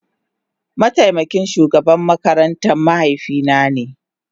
Mataimakin shugaban makarantar mahaifina ne.